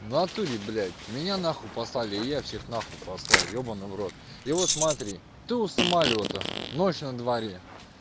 в натуре блять меня нахуй послали и я всех на хуй послал ебанный в рот и вот смотри ты у самолёта ночь на дворе